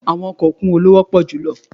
Àwọn ọkọ̀ òkun wo ló wọ́pọ̀ jù lọ?